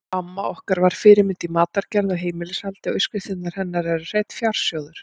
Amma var okkar fyrirmynd í matargerð og heimilishaldi og uppskriftirnar hennar eru hreinn fjársjóður.